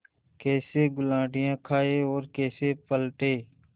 कैसे गुलाटियाँ खाएँ और कैसे पलटें